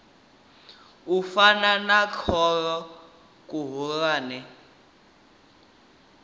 u fana na khoro khulwane